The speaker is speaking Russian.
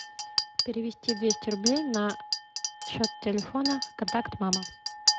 перевести двести рублей на счет телефона контакт мама